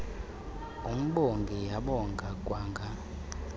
imbongi yabonga kwanga